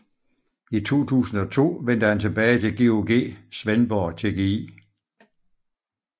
I 2002 vendte han tilbage til GOG Svendborg TGI